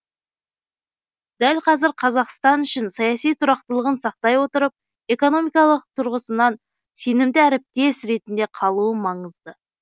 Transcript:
дәл қазір қазақстан үшін саяси тұрақтылығын сақтай отырып экономикалық тұрғысынан сенімді әріптес ретінде қалуы маңызды